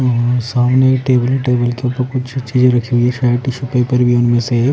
वहां सामने एक टेबल है टेबल के ऊपर कुछ चीजें रखी हुई है शायद टिशू पेपर भी है उनमें से एक।